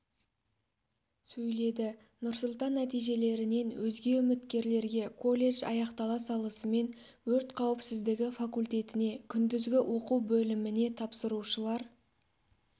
сөйледі нурсултан нәтижелерінен өзге үміткерлерге колледж аяқтала салысымен өрт қауіпсіздігі факультетіне күндізгі оқу бөліміне тапсырушылар